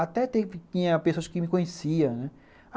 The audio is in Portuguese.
Até tinha pessoas que me conhecia, né.